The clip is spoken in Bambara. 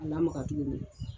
A lamaga tuguni.